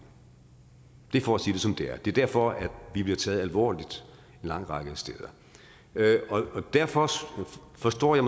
det er for at sige det som det er det er derfor vi bliver taget alvorligt en lang række steder derfor forstår jeg